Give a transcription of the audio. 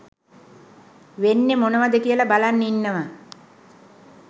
වෙන්නේ මොනවද කියලා බලන් ඉන්නවා